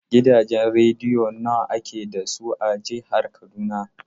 Gidajen rediyo nawa ake da su a jihar Kaduna?